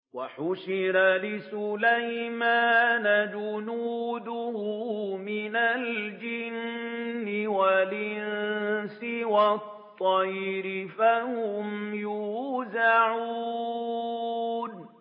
وَحُشِرَ لِسُلَيْمَانَ جُنُودُهُ مِنَ الْجِنِّ وَالْإِنسِ وَالطَّيْرِ فَهُمْ يُوزَعُونَ